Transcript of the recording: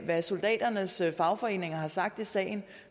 hvad soldaternes fagforeninger har sagt i sagen